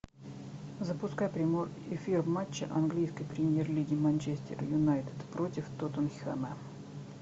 запускай прямой эфир матча английской премьер лиги манчестер юнайтед против тоттенхэма